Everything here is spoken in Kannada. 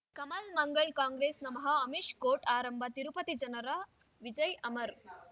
ಕಮಲ್ ಮಂಗಳ್ ಕಾಂಗ್ರೆಸ್ ನಮಃ ಅಮಿಷ್ ಕೋರ್ಟ್ ಆರಂಭ ತಿರುಪತಿ ಜನರ ವಿಜಯ ಅಮರ್